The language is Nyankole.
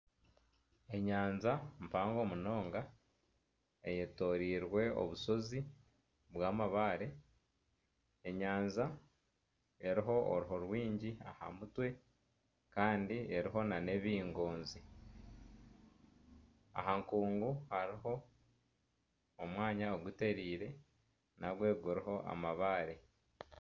Enyanja mpango munonga eyetoreirwe obusozi bwamabaare enyanja eriho oruho rwingi aha mutwe kandi eriho nana ebingonzi aha nkungu hariho omwanya ogutereire nagwe guriho amabaare